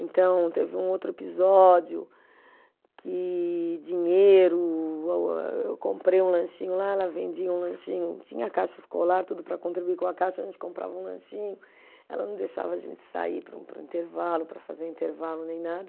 Então, teve um outro episódio que dinheiro, eu comprei um lanchinho lá, ela vendia um lanchinho, tinha caixa escolar, tudo para contribuir com a caixa, a gente comprava um lanchinho, ela não deixava a gente sair para o, para o intervalo, para fazer o intervalo, nem nada.